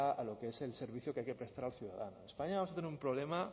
a lo que es el servicio que hay que prestar al ciudadano en españa vamos a tener un problema